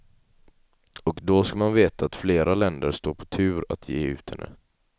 Och då ska man veta att fler länder står på tur att ge ut henne.